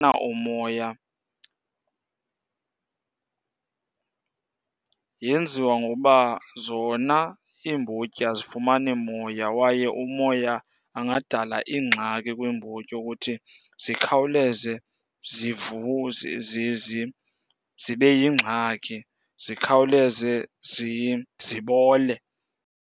umoya, yenziwa ngokuba zona iimbotyi azifumani moya. Kwaye umoya angadala iingxaki kwiimbotyi wokuthi zikhawuleze zibe yingxaki, zikhawuleze zibole.